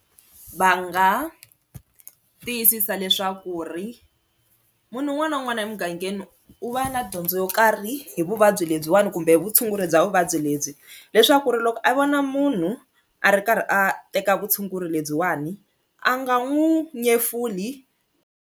Va nga tiyisisa leswaku ri munhu un'wana na un'wana emugangeni u va na dyondzo yo karhi hi vuvabyi lebyiwani kumbe vutshunguri bya vuvabyi lebyi leswaku ri loko a vona munhu a ri karhi a teka vutshunguri lebyiwani a nga n'wi nyefuli.